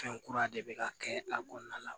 Fɛn kura de bɛ ka kɛ a kɔnɔna la